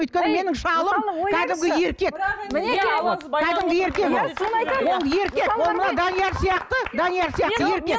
өйткені менің шалым кәдімгі еркек ол мына данияр сияқты данияр сияқты еркек